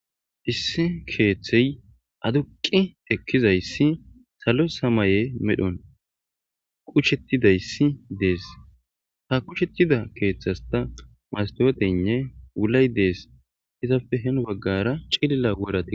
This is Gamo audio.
Issi keeththey aduqqi ekkizayssi salo samaye medhon qusheththidayssi dees; ha qusheththida keeththaskka masththoothenne wulay dees; izappe hini baggaara cilila worathi.